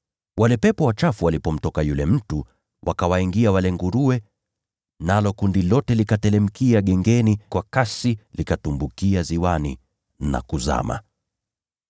Wale pepo wachafu walipomtoka yule mtu, wakawaingia wale nguruwe, nalo kundi lote likateremkia gengeni kwa kasi, likatumbukia ziwani na kuzama.